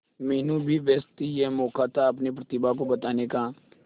मीनू भी व्यस्त थी यह मौका था अपनी प्रतिभा को बताने का